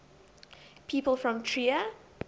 people from trier